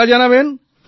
পাক্কা জানাবেন